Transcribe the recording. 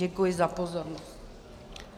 Děkuji za pozornost.